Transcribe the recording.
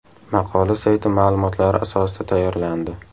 Maqola sayti ma’lumotlari asosida tayyorlandi.